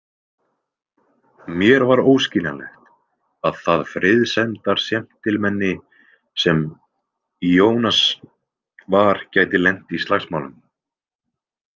Mér var óskiljanlegt að það friðsemdarséntilmenni sem Ionas var gæti lent í slagsmálum.